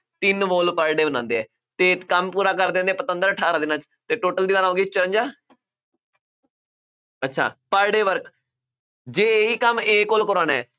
ਤਿੰਨ wall per day ਬਣਾਉਂਦੇ ਆ ਅਤੇ ਕੰਮ ਪੂਰਾ ਕਰਦੇ ਦਿੰਦੇ, ਪਤੰਦਰ ਅਠਾਰਾਂ ਦਿਨਾਂ ਚ ਅਤੇ total ਦੀਵਾਰਾਂ ਹੋ ਗਈਆਂ ਚੁਰੰਜ਼ਾ ਅੱਛਾ per day work ਜੇ ਇਹੀ ਕੰਮ A ਕੋਲੋਂ ਕਰਵਾਉਣਾ,